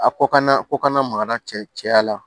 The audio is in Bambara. A ko kana ko kana makara cɛ cɛya la